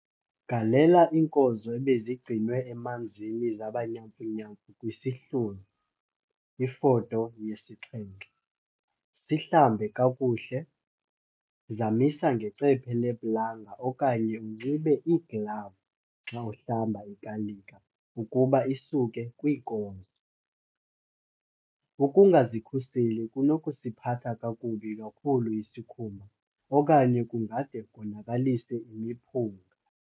Galela iinkozo ebezigcinwe emanzini zaba nyamfunyamfu kwisihluzi, Ifoto yesi-7. Sihlambe kakuhle - zamisa ngecephe leplanga okanye unxibe iiglavu xa uhlamba ikalika ukuba isuke kwiinkozo. Ukungazikhuseli kunokusiphatha kakubi kakhulu isikhumba okanye kungade konakalise imiphunga.